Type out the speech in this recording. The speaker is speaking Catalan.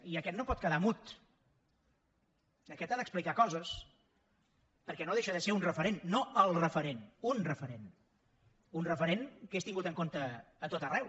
i aquest no pot quedar mut aquest ha d’explicar coses perquè no deixa de ser un referent no el referent unrent que és tingut en compte a tot arreu